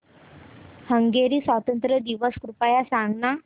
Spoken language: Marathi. हंगेरी स्वातंत्र्य दिवस कृपया सांग ना